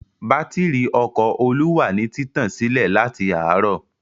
Bátírí ọkọ̀ Olú wà ní títàn sílẹ̀ láti àárọ̀.